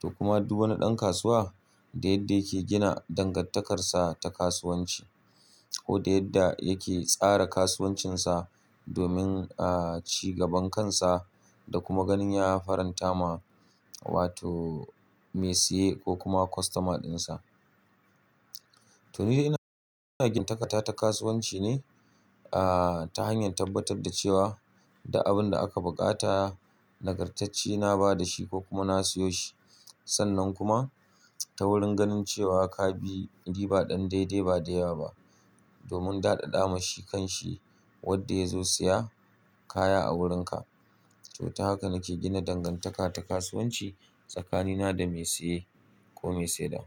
To kuma duk wani ɗan kasuwa da yadda yake gina dangantakarsa ta kasuwanci ko da yadda yake tsara kasuwancinsa domin, ci gaban kansa da kuma ganin ya faranta ma wato mai siye ko kuma kostomar dinsa. To ni dai ina gina dangantaka ta kasuwanci ne, ta hanyar tabbatar da cewa da abin da aka buƙata nagartacce na bada shi ko kuma na siyo shi. Sannan kuma ta wurin ganin cewa ka bi riba ɗan daidai ba da yawa ba domin daɗaɗa ma shi kanshi wanda ya zo siya kaya a wurinka. To ta haka nake gina dangantaka ta kasuwanci tsakanina da mai siye ko mai saidawa.